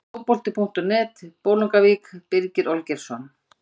Fótbolti.net, Bolungarvík- Birgir Olgeirsson.